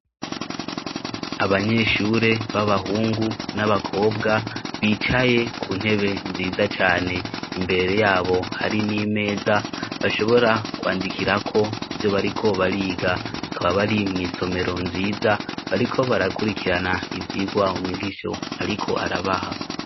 Abanyeshure b'abahungu n'abakobwa bicaye ku ntebe nziza cane. Imbere yabo hari n'imeza bashobora kwandikirako ivyo bariko bariga. Bakaba bari mw'isomero nziza, bariko barakurikirana ivyigwa umwigishi ariko arabaha.